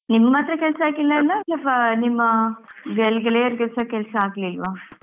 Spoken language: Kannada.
ನಿಮ್ಗ್ ಮಾತ್ರ ಕೆಲಸ ಆಗ್ಲಿಲ್ವಾ ಅಥವಾ ನಿಮ್ಮ ಗೆಳೆಯರಿಗೆಸ ಕೆಲಸ ಆಗ್ಲಿಲ್ವಾ?